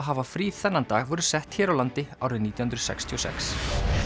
hafa frí þennan dag voru sett hér á landi árið nítján hundruð sextíu og sex